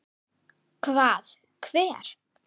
Hvað, hver?